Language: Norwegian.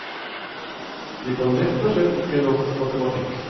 De kan rett og slett ikke nok matematikk.